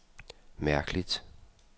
mærkeligt